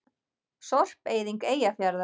Sorpeyðing Eyjafjarðar.